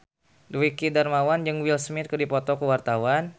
Dwiki Darmawan jeung Will Smith keur dipoto ku wartawan